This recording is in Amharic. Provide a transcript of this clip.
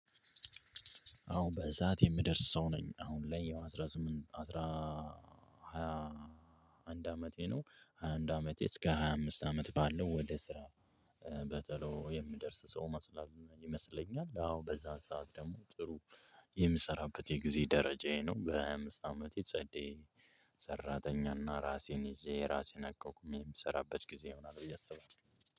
አሁን በዚህ ሰዓት የምደርስ ሰው ነኝ አሁን ላይ ያው አስራ ስምንት አስራ ሃያ አንድ አመቴ ነው። ሃያአንድ አመቴ እስከ ሃያ አምስት አመት ባለው ወደ ስራ በተሎ የምደርስ ሰው መስላለው ይመስለኛል። አዎ በዛ ሰዓት ደግሞ ጥሩ የምሰራበት የጊዜ ደረጃዬ ነው። በሃያ አምስት አመቴ ጸዴ ሰራተኛና ራሴን ይዤ ራሴን አቋቁሜ የምሰራበት ጊዜ ይሆናል ብዬ አስባለሁ።